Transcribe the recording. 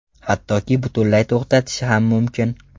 Hattoki butunlay to‘xtatishi ham mumkin.